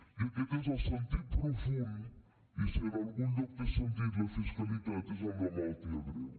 i aquest és el sentit profund i si en algun lloc té sentit la fiscalitat és amb la malaltia greu